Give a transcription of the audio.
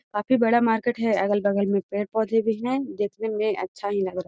काफी बड़ा मार्केट है अगल बगल में पेड़-पौधे भी है देखने मे अच्छा ही लग रहा हैं